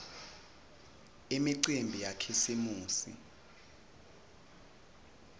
imicimbi yakhisimusi